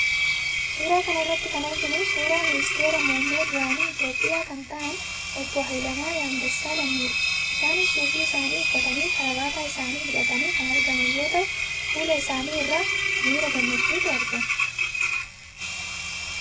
Suuraa kana irratti kan arginuu suuraa ministeera muummee duraanii Itoophiyaa kan ta'an obbo Haayilemaaram Dassalanyidha. Isaaniis suufii isaanii uffatanii, karabaataa isaanii hidhatanii kan argaman yoo ta'u, fuula isaanii irraa mira gammachuutu argama.